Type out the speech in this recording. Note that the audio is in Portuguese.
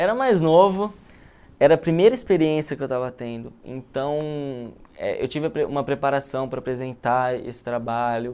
Era mais novo, era a primeira experiência que eu estava tendo, então eh eu tive uma preparação para apresentar esse trabalho.